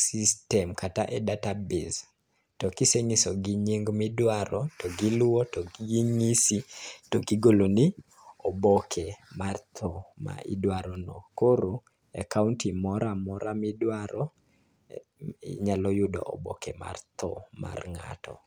system kata e [csdatabase. To kisenyiso gi nying midwaro to giluwo to ginyisi, to igolo ni oboke mar tho ma idwaro no. Koro e kaonti moramora midwaro, inyalo yudo oboke mar tho mar ng'ato.